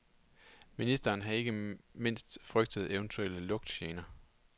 Ministeren har ikke mindst frygtet eventuelle lugtgener.